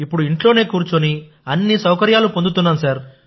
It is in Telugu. ఇప్పుడు ఇంట్లో కూర్చొని అన్ని సౌకర్యాలు పొందుతున్నాం